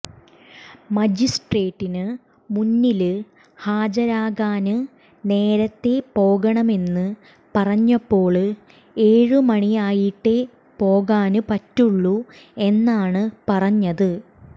മജിസ്ട്രേറ്റിന് മുന്നില് ഹാജരാക്കാന് നേരത്തെ പോകണമെന്ന് പറഞ്ഞപ്പോള് ഏഴ് മണിയായിട്ടേ പോകാന് പറ്റുള്ളൂ എന്നാണ് പറഞ്ഞത്